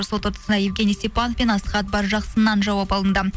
сот отырысында евгений степанов пен асхат баржақсыннан жауап алынды